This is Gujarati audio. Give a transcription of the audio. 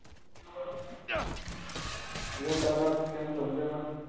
Hello પારસ કેમ છો મજામાં